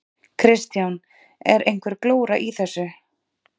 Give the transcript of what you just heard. Kristján: Er einhver glóra í þessu?